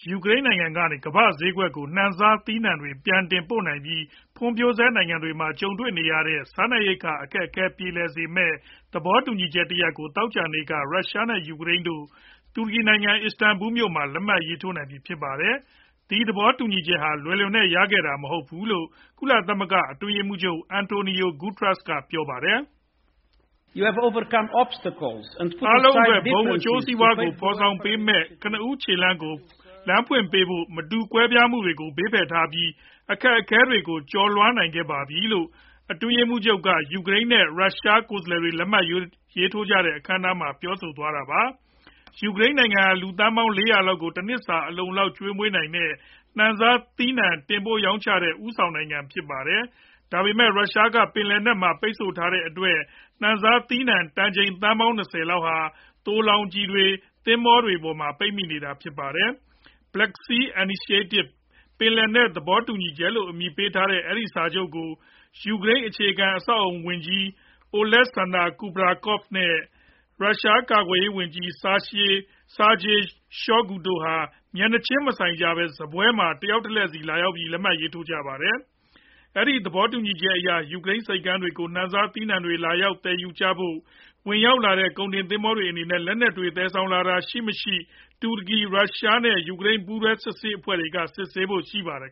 ယူကရိန်းနိုင်ငံ ကနေ ကမ္ဘာ့ဈေးကွက်ကို နှံစားသီးနှံတွေ ပြန်တင်ပို့နိုင်ပြီး ဖွံ့ဖြိုးဆဲနိုင်ငံတွေမှာ ကြုံတွေ့နေရတဲ့ စားနပ်ရိက္ခာ အခက်အခဲပြေလည်စေမယ့် သဘောတူညီချက်တရပ်ကို သောကြာနေ့က ရုရှားနဲ့ ယူကရိန်းတို့ တူရကီနိုင်ငံ အစ္စတန်ဘူလ်မြို့မှာ လက်မှတ်ရေးထိုးနိုင်ပြီဖြစ်ပါတယ်။ ဒီသဘောတူညီချက်ဟာ လွယ်လွယ်နဲ့ ရခဲ့တာ မဟုတ်ဖူးလို့ ကုလသမဂ္ဂအတွင်းရေးမှုးချုပ် Antonio Guterres က ပြောပါတယ်။ " အားလုံးအတွက် ဘုံအကျိုးစီးပွားကို ဖေါ်ဆောင်ပေးမယ့် ကနဦးခြေလှမ်းကို လမ်းဖွင့်ပေးဖို့ မတူကွဲပြားမှုတွေကို ဘေးဖယ်ထားပြီး အခက်အခဲတွေကိုကျော်လွှားနိုင်ခဲ့ကြပါပြီ " လို့ အတွင်းရေးမှူးချုပ် က ရုရှား နဲ့ ယူကရိန်း ကိုယ်စားလှယ်တွေ လက်မှတ်ရေးထိုးတဲ့ အခမ်းအနားမှာ ပြောသွားတာပါ။ ယူကရိန်းနိုင်ငံ ဟာ လူသန်းပေါင်း ၄ဝဝ လောက်ကို တနှစ်စာ အလုံအလောက် ကျွေးမွေးနိုင်တဲ့ နှံစားသီးနှံ တင်ပို့ရောင်းချတဲ့ ဦးဆောင်နိုင်ငံ ဖြစ်ပါတယ်။ ဒါပေမယ့် ရုရှားက ပင်လယ်နက်မှာ ပိတ်ဆို့ထားတဲ့အတွက် နှံစားသီးနှံ တန်ချိန်သန်းပေါင်း ၂ဝ လောက်ဟာ သိုလှောင်ကျီတွေမှာ သင်္ဘောတွေပေါ်မှာပဲ ပိတ်မိနေတာဖြစ်ပါတယ်။ Black Sea Initiative ပင်လယ်နက် သဘောတူညီချက် လို့ အမည်ရတဲ့ အဲဒီစာချုပ်ကို ယူကရိန်း အခြေခံအဆောက်အအုံဆိုင်ရာ ဝန်ကြီး Oleksandr Kubrakov နဲ့ ရုရှား ကာကွယ်ရေးဝန်ကြီး Sergei Shoigu တို့ဟာ မျက်နှာချင်းမဆိုင်ကြပဲ စားပွဲမှာ တယောက်တလှည့်ဆီ လာရောက်ပြီး လက်မှတ်ထိုးကြပါတယ်။ အဲဒီ သဘောတူညီချက်အရ ယူကရိန်းဆိပ်ကမ်းတွေကို နှံစားသီးနှံတွေ လာရောက် သယ်ယူကြဖို့ ဝင်ရောက်လာကြတဲ့ ကုန်တင် သင်္ဘောတွေအနေနဲ့ လက်နက်တွေ သယ်ဆောင်လာတာ မရှိစေဖို့အတွက် တူရကီ၊ ရုရှား နဲ့ ယူကရိန်း ပူးတွဲ စစ်ဆေးရေးအဖွဲ့တွေက စစ်ဆေးဖို့ပါရှိပါတယ်